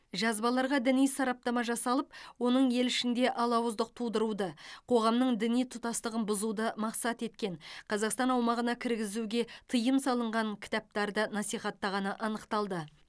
жазбаларға діни сараптама жасалып оның ел ішінде алауыздық тудыруды қоғамның діни тұтастығын бұзуды мақсат еткен қазақстан аумағына кіргізуге тыйым салынған кітаптарды насихаттағаны анықталды